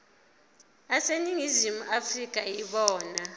aseningizimu afrika yibona